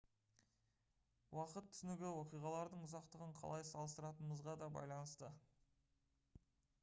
уақыт түсінігі оқиғалардың ұзақтығын қалай салыстыратынымызға да байланысты